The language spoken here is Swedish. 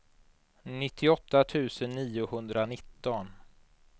nittioåtta tusen niohundranitton